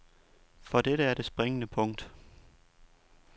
For dette er det springende punkt.